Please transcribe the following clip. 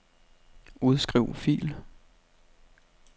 Udskriv fil.